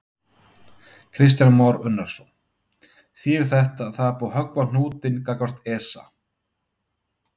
Kristján Már Unnarsson: Þýðir þetta að það er búið að höggva á hnútinn gagnvart ESA?